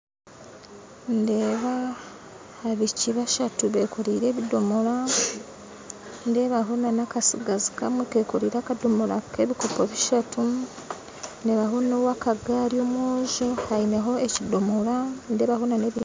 Ndeeba abaishiki bashatu bekoreire ebidomora nindebaho n'akatsigazi kamwe kekoreire akadomora k'ebikopo bishatu ndebaho n'owakagari omwojo aineho ekidomora